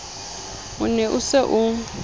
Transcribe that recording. o ne o se o